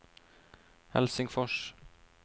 Helsingfors